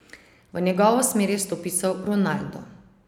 V njegovo smer je stopical Ronaldo.